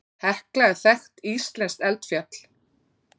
Hekla er þekkt íslenskt eldfjall.